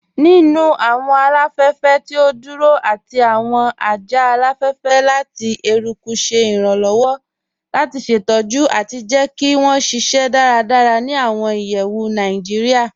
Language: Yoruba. Nínu awọn aláfẹ̀fẹ̀ tí o dúró àti awọn ajá aláfẹ̀fẹ̀ lati èrùkù ṣè irànlowọ̀ lati ṣetọ̀jù àti jẹ́ kí wọn ṣíṣẹ́ dáràdárà ni awọn ìyẹ̀wù Naijíríà.